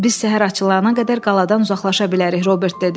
Biz səhər açılana qədər qaladan uzaqlaşa bilərik, Robert dedi.